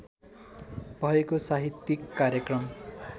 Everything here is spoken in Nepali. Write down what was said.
भएको साहित्यिक कार्यक्रम